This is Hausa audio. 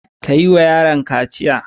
Ka yiwa yaron kaciya.